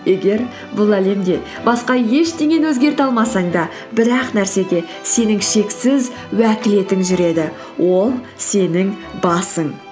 егер бұл әлемде басқа ештеңені өзгерте алмасаң да бір ақ нәрсеге сенің шексіз уәкілетің жүреді ол сенің басың